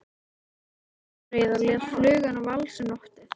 Hann brosti enn breiðar og lét fluguna valsa um loftin.